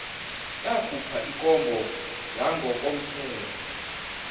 yakhupha ikomba yangokomthetho